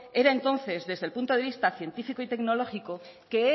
era entonces desde el punto de vista científico y tecnológico que